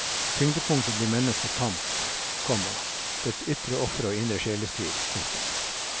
Tyngdepunktet blir menneskets kamp, komma dets ytre ofre og indre sjelestrid. punktum